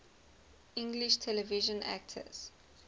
english television actors